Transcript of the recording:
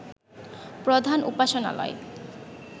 প্রধান উপাসনালয়